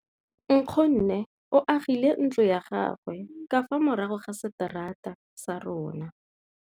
Nkgonne o agile ntlo ya gagwe ka fa morago ga seterata sa rona.